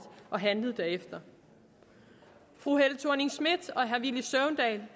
og handlet derefter fru helle thorning schmidt og herre villy søvndal